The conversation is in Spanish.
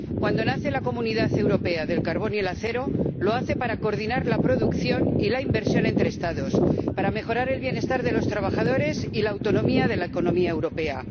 Cuando nace la Comunidad Europea del Carbón y el Acero, lo hace para coordinar la producción y la inversión entre Estados, para mejorar el bienestar de los trabajadores y la autonomía de la economía europea.